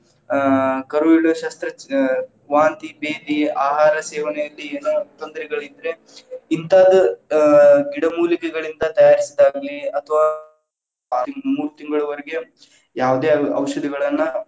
ಆ ಕರುವಿಡ ಶಸ್ತ್ರಚಿ ಅ ವಾಂತಿ ಬೇಧಿ ಆಹಾರ ಸೇವನೆಯಲ್ಲಿ ಏನೋ ತೊಂದರೆಗಳಿದ್ರೆ, ಹಿಂತಾದ್‌ ಆ ಗಿಡಮೂಲಿಕೆಗಳಿಂದ ತಯಾರಿಸಿದಾಗ್ಲಿ ಅಥವಾ ಮೂರ್ ತಿಂಗಳವರೆಗೆ ಯಾವದೇ ಔ~ ಔಷಧಿಗಳನ್ನ.